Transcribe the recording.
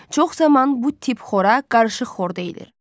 Çox zaman bu tip xora qarışıq xor deyilir.